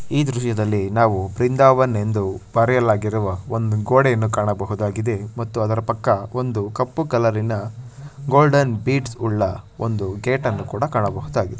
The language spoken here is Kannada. ಈ ದೃಶ್ಯದಲ್ಲಿ ನಾವು ವ್ರಿನ್ದಾವನ್ ಎಂದು ಬರೆಯಲಾಗಿರುವ ಒಂದು ಗೋಡೆಯನ್ನು ಕಾಣಬಹುದಾಗಿದೆ ಮತ್ತು ಅದರ ಪಕ್ಕ ಒಂದು ಕಪ್ಪು ಕಲರಿನ ಗೋಲ್ಡನ್ ಬೀಡ್ಸ್ ಉಳ್ಳ ಒಂದು ಗೇಟ್ ಅನ್ನು ಕೂಡ ಕಾಣಬಹುದಾಗಿದೆ.